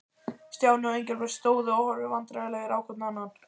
Stjáni og Engilbert stóðu og horfðu vandræðalegir hvor á annan.